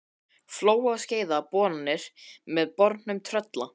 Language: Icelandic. Flóa og Skeiða boranir með bornum Trölla.